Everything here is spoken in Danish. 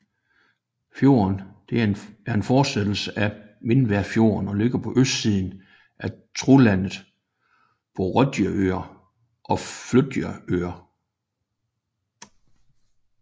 Fjorden er en fortsættelse af Mindværfjorden og ligger på østsiden af Trolandet på Rødøya og Flatøya